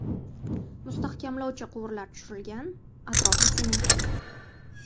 Mustahkamlovchi quvurlar tushirilgan, atrofi sementlangan.